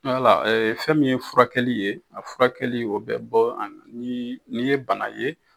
Wala fɛn min ye furakɛli ye a furakɛli o bɛ bɔ ani n'i ye bana ye.